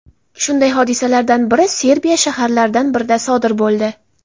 Shunday hodisalardan biri Serbiya shaharlaridan birida sodir bo‘ldi.